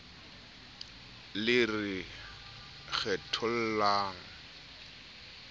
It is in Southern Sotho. le re kgethollang le re